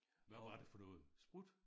Hvad var det for noget sprut?